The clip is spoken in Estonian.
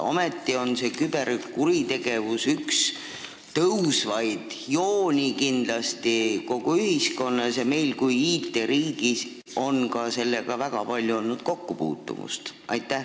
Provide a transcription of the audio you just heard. Ometi on küberkuritegevus kindlasti üks tõusvaid kuritegevuse liike ühiskonnas ja meil IT-riigina on ka sellega olnud väga palju kokkupuutumist.